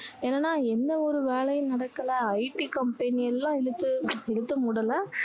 என்னன்னா எந்த ஒரு வேலையும் நடக்கல IT company எல்லாம் இழுத்து இழுத்து மூடல